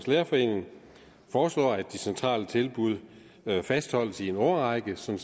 lærerforening foreslår at de centrale tilbud fastholdes i en årrække så